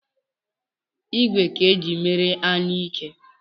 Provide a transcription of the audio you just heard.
ìgwè ka e jiri mee anyuike